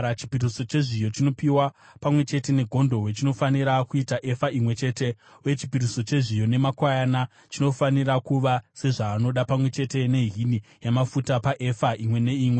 Chipiriso chezviyo chinopiwa pamwe chete negondobwe chinofanira kuita efa imwe chete, uye chipiriso chezviyo nemakwayana chinofanira kuva sezvaanoda, pamwe chete nehini yamafuta paefa imwe neimwe.